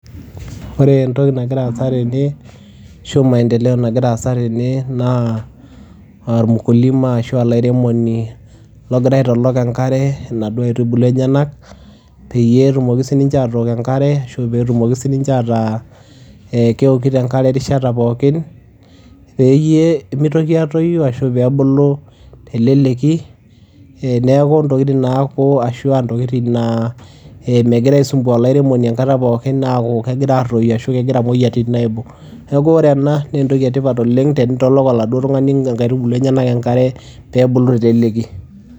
Ore entoki nagira aasa tene ashu maendeleo nagira aasa tene ormukilima ashu olairemoni logira aitolok enkare inaduo aitubulu enyenak peyie etumoki sininche aatok enkare ashu peetumoki sininche ataa ee kewokito enkare erishata pookin peyie mitoki aatoyu ashu peebulu te leleki. Eee neeku intokitin naaku ashu aa intokitin naa ee migira aisumbua olairemoni enkata pookin aaku kegira aatoyu ashu kegira imoyiaritin aibung'. Neeku ore ena nee entoki e tipat oleng' tenitolok oladuo tung'ani inkaitubuu enyenak enkare peebulu te leleki.